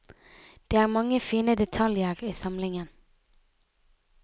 Det er mange fine detaljer i samlingen.